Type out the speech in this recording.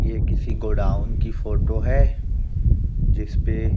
ये किसी गोडाउन की फोटो है जिसपे --